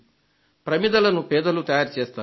ప్రమిదలను పేదలు తయారుచేస్తారు